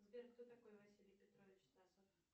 сбер кто такой василий петрович стасов